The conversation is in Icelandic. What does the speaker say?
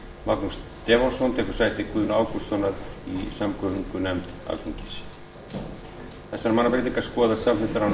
magnús stefánsson tekur sæti guðna ágústssonar í samgöngunefnd alþingis þessar mannabreytingar skoðast samþykktar án atkvæðagreiðslu